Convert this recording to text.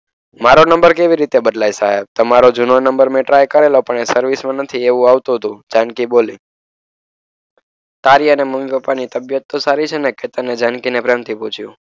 મારો નંબર કેવી રીતે બદલાય સાહેબ તમારો જૂનો નંબર ટ્રાય કરેલો. પણ એ સર્વિસમાં નથી એવું આવતું હતું. જાનકી બોલી. તારી અને મમ્મી પપ્પાની તબિયત તો સારી છે ને કેતન ને જાનકી એ પ્રેમથી પૂછ્યું.